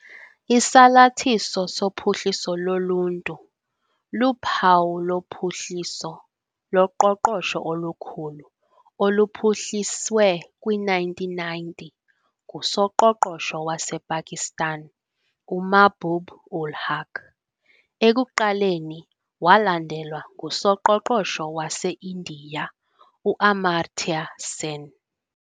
Isalathiso soPhuhliso loLuntu luphawu lophuhliso loqoqosho olukhulu oluphuhliswe kwi-1990 ngusoqoqosho wasePakistan uMahbub ul Haq, ekuqaleni walandelwa ngusoqoqosho waseIndiya u-Amartya Sen.